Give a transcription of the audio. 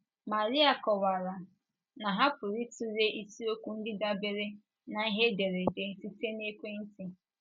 Maria kọwara na ha pụrụ ịtụle isiokwu ndị dabeere na ihe ederede site na ekwentị